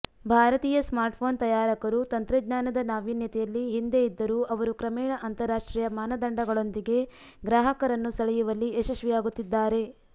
ಭಾರತೀಯ ಸ್ಮಾರ್ಟ್ಫೋನ್ ತಯಾರಕರು ತಂತ್ರಜ್ಞಾನದ ನಾವೀನ್ಯತೆಯಲ್ಲಿ ಹಿಂದೆ ಇದ್ದರೂ ಅವರು ಕ್ರಮೇಣ ಅಂತರರಾಷ್ಟ್ರೀಯ ಮಾನದಂಡಗಳೊಂದಿಗೆ ಗ್ರಾಹಕರನ್ನು ಸೆಳೆಯುವಲ್ಲಿ ಯಶಸ್ವಿಯಾಗುತ್ತಿದ್ದಾರೆ